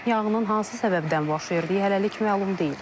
Yanğının hansı səbəbdən baş verdiyi hələlik məlum deyil.